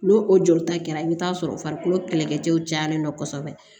N'o o jolita kɛra i bɛ t'a sɔrɔ farikolo kɛlɛkɛcɛw cayalen don kosɛbɛ